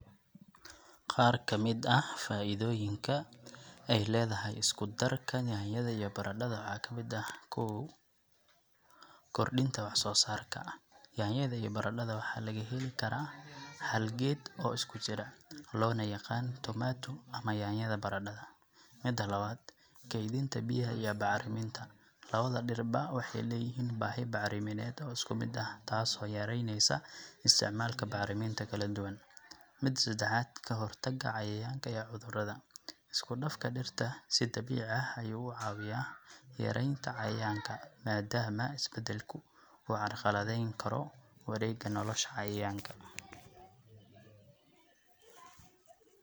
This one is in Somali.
qaar kamid ah faaidoyinka ay ledahay iskudarka nyaanyada iyo baradhada waxaa kamid eh; kow, kordinta wax soo sarka. Nyaanyada iyo baradhada waxaa laga heli karaa hal geed oo iskujiro ona loo yaqan tomato ama nyaanyada baradhada, mida lawad, keydinta biyaha iyo bacriminta, lawada dhir ba waxay leyihin baahi bacrimined oo isku mid ah taas oo yareyneesa isticmaalka bacriminta kala duwan, mida sedexaad, kahortaga cayayaanka iyo cudurada, isku dhafka dhirta si dabiici ah ayu uu cabiyaa yareyntaa cayayaanka maadamaa isbadalku uu carqaladeyn karo wareega nolosha cayayaanka